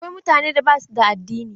Akwai mutane da basu da addini.